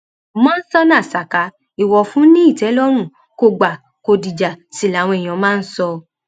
mọńsóná saka ìwòfún ni ìtẹlọrùn kò gbà kó dìjà sí làwọn èèyàn máa ń sọ